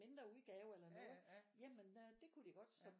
Mindre udgave eller noget jamen øh det kunne det godt så